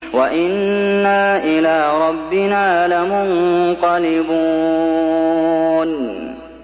وَإِنَّا إِلَىٰ رَبِّنَا لَمُنقَلِبُونَ